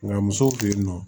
Nka musow fe yen nɔ